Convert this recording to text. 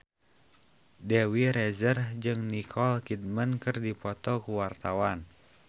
Dewi Rezer jeung Nicole Kidman keur dipoto ku wartawan